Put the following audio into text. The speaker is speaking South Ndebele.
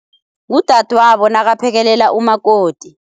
Ngudadwabo nakaphekelela umakoti.